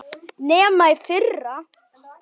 Nema í fyrra.